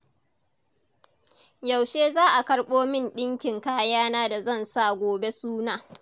Yaushe za a karɓo min ɗinkin kayana da zan sa gobe suna?